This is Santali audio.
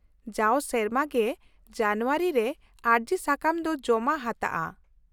ᱼᱡᱟᱣ ᱥᱮᱨᱢᱟ ᱜᱮ ᱡᱟᱱᱩᱣᱟᱨᱤ ᱨᱮ ᱟᱹᱨᱡᱤ ᱥᱟᱠᱟᱢ ᱫᱚ ᱡᱚᱢᱟ ᱦᱟᱛᱟᱜᱼᱟ ᱾